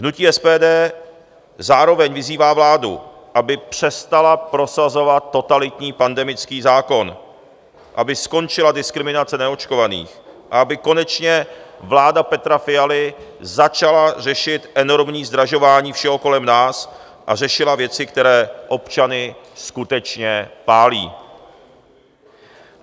Hnutí SPD zároveň vyzývá vládu, aby přestala prosazovat totalitní pandemický zákon, aby skončila diskriminace neočkovaných a aby konečně vláda Petra Fialy začala řešit enormní zdražování všeho kolem nás a řešila věci, které občany skutečně pálí.